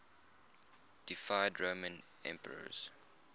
deified roman emperors